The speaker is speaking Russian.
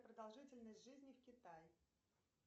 продолжительность жизни в китай